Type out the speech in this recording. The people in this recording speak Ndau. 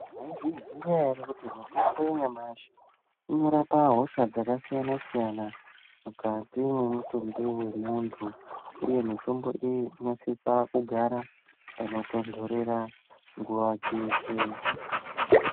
Maizviziva here kuti mitombo nyamashe inorapa hosha dzakasiyana siyana mukati memitumbi yemunhu uye mitombo iyo inosisa kugara panotonhorera nguva dzeshe.